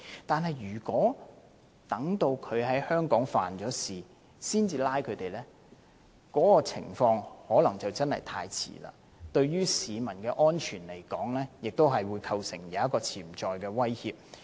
但是，如果要等他在香港犯案後才拘捕他，可能已經太遲，對市民的安全亦構成潛在的威脅。